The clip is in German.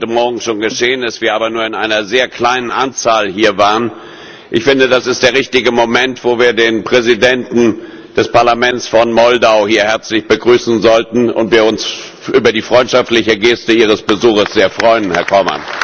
Auch wenn es heute Morgen schon geschehen ist, wo wir aber nur in einer sehr kleinen Anzahl hier waren Ich finde, dies ist der richtige Moment, wo wir den Präsidenten des Parlaments von Moldau hier herzlich begrüßen sollten, da wir uns über die freundschaftliche Geste Ihres Besuches sehr freuen, Herr Corman!